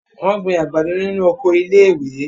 Wọ́n gbin àgbàdo nínu oko iléèwé